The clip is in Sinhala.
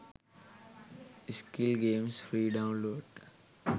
skill games free download